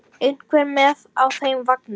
Einhver með á þeim vagni?